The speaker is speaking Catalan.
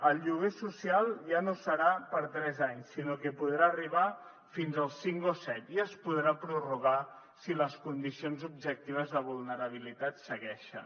el lloguer social ja no serà per a tres anys sinó que podrà arribar fins als cinc o set i es podrà prorrogar si les condicions objectives de vulnerabilitat segueixen